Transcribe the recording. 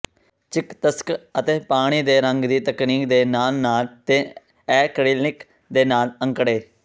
ਚਿਕਿਤਸਕ ਅਤੇ ਪਾਣੀ ਦੇ ਰੰਗ ਦੀ ਤਕਨੀਕ ਦੇ ਨਾਲ ਨਾਲ ਤੇ ਐਕ੍ਰੀਲਿਕ ਦੇ ਨਾਲ ਅੰਕੜੇ